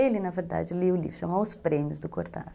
Ele, na verdade, lia o livro, chamava Os Prêmios, do Cortázar.